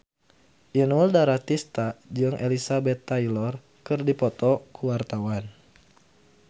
Inul Daratista jeung Elizabeth Taylor keur dipoto ku wartawan